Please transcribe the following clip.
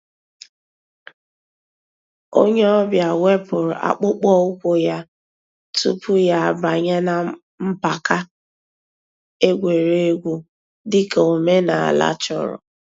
Ònyè ọ̀ bịa wépụ̀rù àkpụ̀kpọ̀ ǔ́kwụ̀ yà túpù yà àbànyè nà mpàka ègwè́ré́gwụ̀, dị̀ka òmènàlà chọ̀rọ̀.